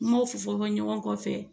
N m'o fɔ fɔ ɲɔgɔn kɔ fɛ